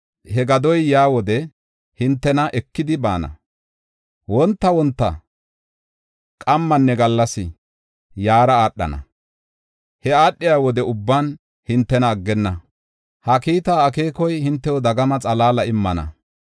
He gadoy yaa wode hintena ekidi baana; wonta wonta, qamminne gallas yaara aadhana; he aadhiya wode ubban hintena aggenna. Ha kiita akeekoy hintew dagama xalaala immana.